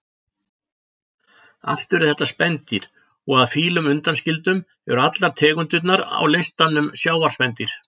Allt eru þetta spendýr og að fílum undanskildum eru allar tegundirnar á listanum sjávarspendýr.